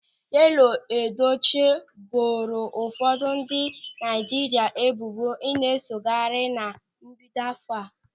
Yọlụ Edochie boro ụfọdụ ndị Naịjirịa ebubo ịna-esogharị na mbido áfọ̀ a.